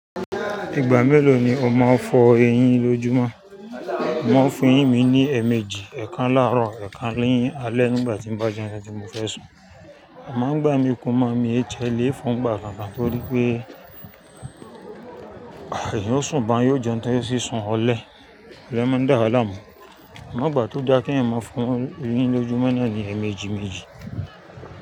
Ìgbà mélòó ni o máa ń fọ eyín lójúmọ́? Mọ̀ ń fún ìyí mi ní ẹ̀ẹ̀mejì, ẹ̀kan láàrọ̀, ẹ̀kan nì alẹ́ nígbà tí n bá jẹun tí mo fẹ́ sùn. Amá ń gbà mí kùn ma mi ẹ tiẹ lé fo gbà kànkàn torí pé, ah ẹyín ò sùn bá yóò jẹun tó yóò sì sùn ọlẹ, oloun máa ń dàá láàmú. Ẹ̀má gbà tó dá kí ẹ̀ n máa fún eyín lójúmọ́ náà ní ẹ̀ẹ̀mejì méjì.